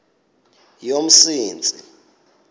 yomsintsi